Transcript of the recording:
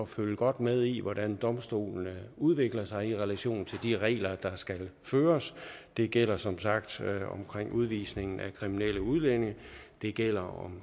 følge godt med i hvordan domstolene udvikler sig altså i relation til de regler der skal følges det gælder som sagt omkring udvisningen af kriminelle udlændinge det gælder